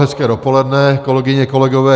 Hezké dopoledne, kolegyně, kolegové.